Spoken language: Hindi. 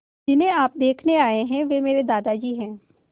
जिन्हें आप देखने आए हैं वे मेरे दादाजी हैं